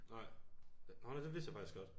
Nej nårh nej det vidste jeg faktisk godt